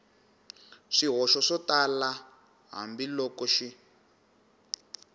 swihoxo swo tala hambiloko xi